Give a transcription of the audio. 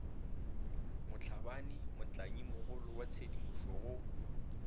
motlhabane motlanyimogolo wa tshedimošoa go